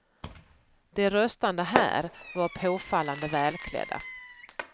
De röstande här var påfallande välklädda.